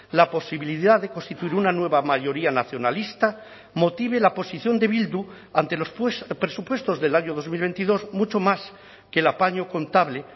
la posibilidad de constituir una nueva mayoría nacionalista motive la posición de bildu ante los presupuestos del año dos mil veintidós mucho más que el apaño contable